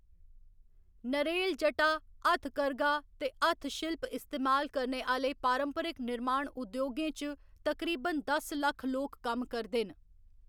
नरेल जटा, हथकरघा ते हत्थशिल्प इस्तेमाल करने आह्‌‌‌ले पारंपरक निर्माण उद्योगें च तकरीबन दस लक्ख लोक कम्म करदे न।